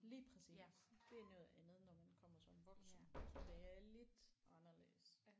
Lige præcis det er noget andet når man kommer som voksen det er lidt anderledes